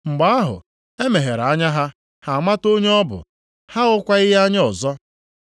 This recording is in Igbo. Mgbe ahụ, e meghere anya ha, ha amata onye ọ bụ, ha ahụkwaghị ya anya ọzọ.